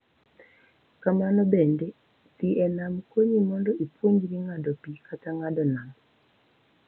Kamano bende, dhi e nam konyi mondo ipuonjri ng’ado pi kata ng’ado nam.